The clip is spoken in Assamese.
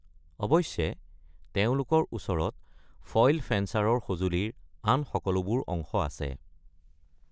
অৱশ্যে, তেওঁলোকৰ ওচৰত ফইল ফেঞ্চাৰৰ সঁজুলিৰ আন সকলোবোৰ অংশ আছে।